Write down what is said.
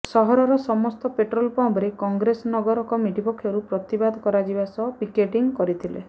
ସହରର ସମସ୍ତ ପେଟ୍ରୋଲ ପମ୍ପରେ କଂଗ୍ରେସ ନଗର କମିଟି ପକ୍ଷରୁ ପ୍ରତିବାଦ କରାଯିବା ସହ ପିକେଟିଂ କରିଥିଲେ